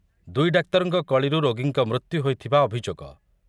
ଦୁଇ ଡାକ୍ତରଙ୍କ କଳିରୁ ରୋଗୀଙ୍କ ମୃତ୍ୟୁ ହୋଇଥିବା ଅଭିଯୋଗ